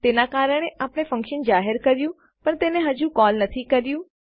તેના કારણે આપણે ફંક્શન જાહેર કર્યું પણ તેને હજુ કોલ નથી કર્યું